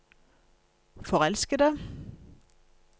forelskede